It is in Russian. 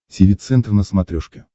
тиви центр на смотрешке